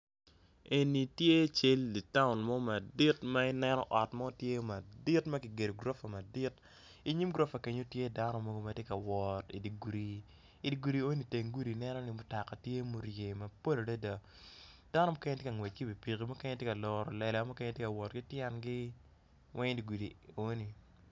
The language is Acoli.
Eni tye cal dyer town mo madit ma i neno ot mo tye o madit makigero gorofa, i nyim gorofa kenyo tye dano mogo matye ka wot idi gudi, i di gudi enoni i nenoni mutoka tye ma oryei mapol adada, dano mukene tye ka ngwec ki wi pikipiki, mukene tye ka loro lela, mukene tye ka wot ki tyengi weng i digudi enoni.